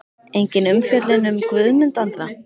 Engin umfjöllun um Guðmund Andra?